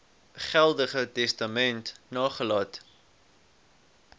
geldige testament nagelaat